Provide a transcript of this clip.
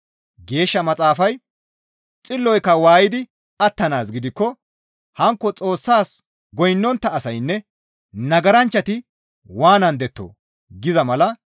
Geeshsha Maxaafay, «Xilloyka waaydi attanaaz gidikko, hankko Xoossas goynnontta asaynne nagaranchchati waanandettoo?» giza mala.